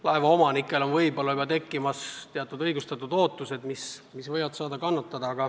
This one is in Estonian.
Laevaomanikel tekivad ehk õigustatud ootused, mis ei pruugi täituda.